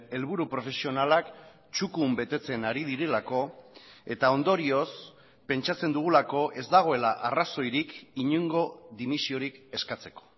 helburu profesionalak txukun betetzen ari direlako eta ondorioz pentsatzen dugulako ez dagoela arrazoirik inongo dimisiorik eskatzeko